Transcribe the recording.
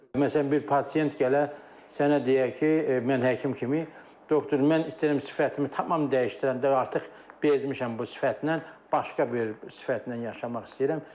Məsələn, bir pasient gələ, sənə deyə ki, mən həkim kimi, doktor, mən istəyirəm sifətimi tamam dəyişdirəndə, artıq bezmişəm bu sifətlə, başqa bir sifətlə yaşamaq istəyirəm.